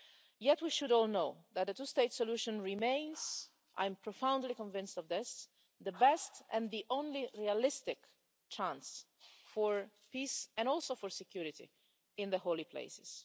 Yet, we should all know that a two-state solution remains I'm profoundly convinced of this the best and the only realistic chance for peace and also for security in the holy places.